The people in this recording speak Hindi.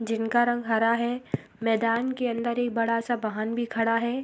जिनका रंग हरा है। मैदान के अंदर एक बड़ा सा वाहन भी खड़ा है।